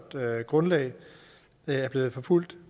grundlag er blevet forfulgt